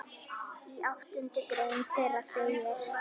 Í áttundu grein þeirra segir